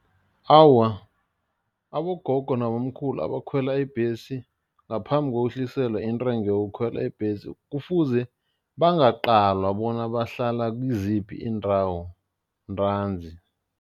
Awa, abogogo nabomkhulu abakhwela ibhesi ngaphambi kokwehliselwa intengo yokukhwela ibhesi kufuze bangaqalwa bona bahlala kiziphi iindawo ntanzi.